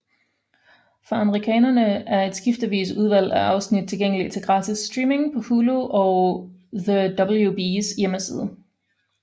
For amerikanere er et skiftende udvalg af afsnit tilgængelige til gratis streaming på Hulu og The WBs hjemmeside